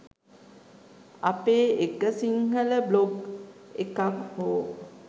අපේ එක සිංහල බ්ලොග් එකක් හෝ